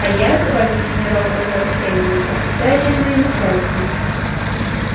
а я добавил генерал-майор кэллнер отвечаю перед моим начальством